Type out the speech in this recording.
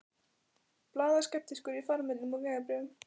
Blaðar skeptískur í farmiðum og vegabréfum.